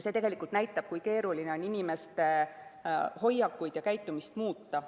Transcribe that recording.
See näitab, kui keeruline on inimeste hoiakuid ja käitumist muuta.